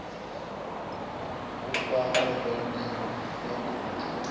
ha fhano rennde ya guṱe